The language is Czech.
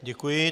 Děkuji.